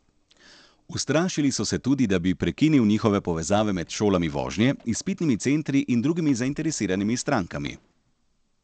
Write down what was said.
Ustrašili so se tudi, da bi prekinil njihove povezave med šolami vožnje, izpitnimi centri in drugimi zainteresiranimi strankami.